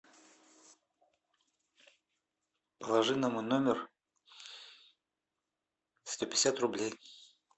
положи на мой номер сто пятьдесят рублей